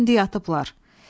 olsun ki indi yatıblar.